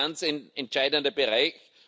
das ist ein ganz entscheidender Bereich.